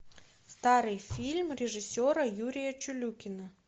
старый фильм режиссера юрия чулюкина